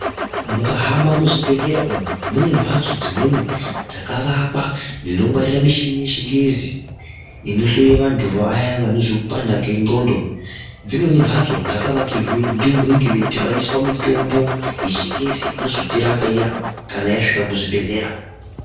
Mukahamba muzvibhehlera umu mune mbatso dzimweni dzakavakwa dzinongwarira michini yechingezi inohloye vantu vaya vanozwe kupanda kwendxondo. Dzimweni mbatso dzakavakirwe ndimo munenge meidhibaniswa mitombo yechingezi inozotirapa iya kana yasvika muzvibhehlera.